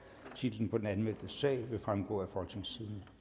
titlen på den anmeldte sag vil fremgå af folketingstidende